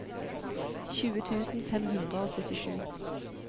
tjue tusen fem hundre og syttisju